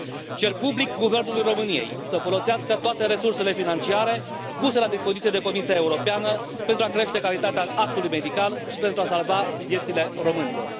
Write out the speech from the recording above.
Cer public guvernului României să folosească toate resursele financiare puse la dispoziție de Comisia Europeană pentru a crește calitatea actului medical și pentru a salva viețile românilor.